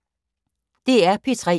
DR P3